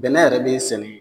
Bɛnɛ yɛrɛ be sɛnɛ